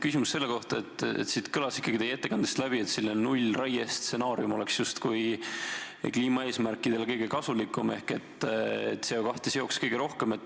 Küsimus on selle kohta, et teie ettekandest käis läbi, et nullraie stsenaarium oleks justkui kliimaeesmärkide seisukohast kõige kasulikum, et CO2 seoks see kõige rohkem.